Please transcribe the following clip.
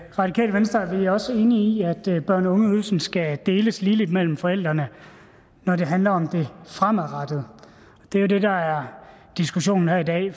radikale venstre er vi også enige i at børne og ungeydelsen skal deles ligeligt mellem forældrene når det handler om det fremadrettede det er jo det der er diskussionen her i dag